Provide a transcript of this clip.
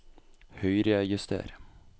Høyrejuster